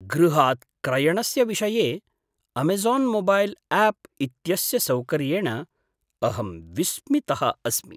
गृहात् क्रयणस्य विषये अमेज़ान् मोबैल् आप् इत्यस्य सौकर्येण अहं विस्मितः अस्मि।